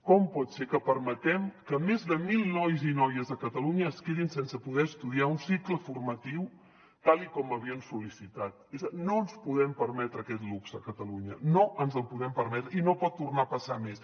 com pot ser que permetem que més de mil nois i noies a catalunya es quedin sense poder estudiar un cicle formatiu tal com havien sol·licitat no ens podem permetre aquest luxe a catalunya no ens el podem permetre i no pot tornar a passar més